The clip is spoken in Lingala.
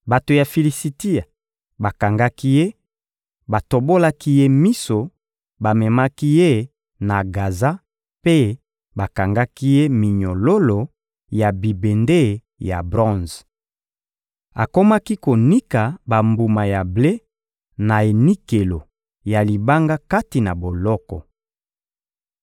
Bato ya Filisitia bakangaki ye, batobolaki ye miso, bamemaki ye na Gaza mpe bakangaki ye minyololo ya bibende ya bronze. Akomaki konika bambuma ya ble na enikelo ya libanga kati na boloko.